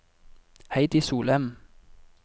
Heidi Solem